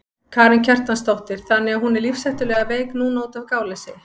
Karen Kjartansdóttir: Þannig að hún er lífshættulega veik núna útaf gáleysi?